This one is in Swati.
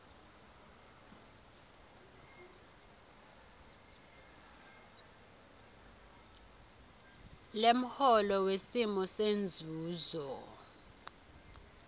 lemholo wesimo senzuzo